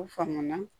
U faŋa na